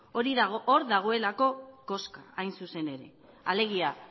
hor dagoelako koska hain zuzen ere alegia